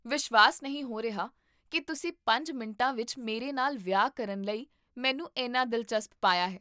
ਵਿਸ਼ਵਾਸ ਨਹੀਂ ਹੋ ਰਿਹਾ ਕਿ ਤੁਸੀਂ ਪੰਜ ਮਿੰਟਾਂ ਵਿੱਚ ਮੇਰੇ ਨਾਲ ਵਿਆਹ ਕਰਨ ਲਈ ਮੈਨੂੰ ਇੰਨਾ ਦਿਲਚਸਪ ਪਾਇਆ ਹੈ